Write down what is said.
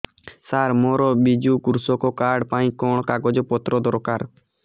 ସାର ମୋର ବିଜୁ କୃଷକ କାର୍ଡ ପାଇଁ କଣ କାଗଜ ପତ୍ର ଦରକାର